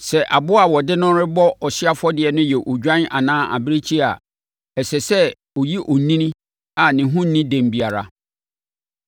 “ ‘Sɛ aboa a wɔde no rebɔ ɔhyeɛ afɔdeɛ no yɛ odwan anaa abirekyie a, ɛsɛ sɛ ɔyɛ onini a ne ho nni dɛm biara.